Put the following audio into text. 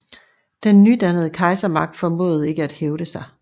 Den nydannede kejsermagt formåede ikke at hævde sig